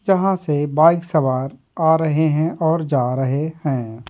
जहाँ से बाइक सवार आ रहे है और जा रहे है।